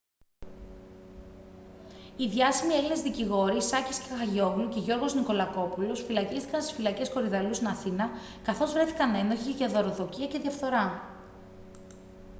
οι διάσημοι έλληνες δικηγόροι σάκης κεχαγιόγλου και γιώργος νικολακόπουλος φυλακίστηκαν στις φυλακές κορυδαλλού στην αθήνα καθώς βρέθηκαν ένοχοι για δωροδοκία και διαφθορά